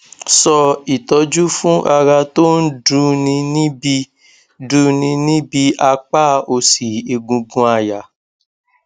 so itoju fun ara ton du ni nibi du ni nibi apa osi egungun aya